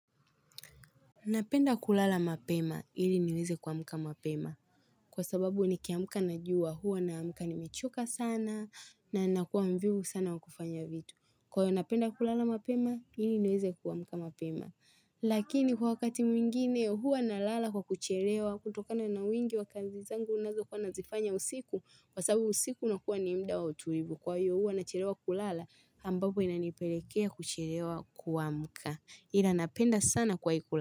Napenda kulala mapema ili niweze kua mka mapema kwa sababu ni kiamka najua huwa na amka ni mechoka sana na nakuwa mvivu sana wa kufanya vitu. Kwa hiyo napenda kulala mapema ili niweze kua mka mapema. Lakini kwa wakati mwingine hua na lala kwa kucherewa kutokana na wingi wakazi zangu nazo kuwa nazifanya usiku kwa sababu usiku una kuwa ni muda wa utulivu kwa hio hua na cherewa kulala ambapo inanipelekea kucherewa kua muka. Ilanapenda sana kwa ikula.